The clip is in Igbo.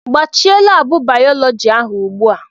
Gbachie laabụ bayọlọji ahụ ugbu a!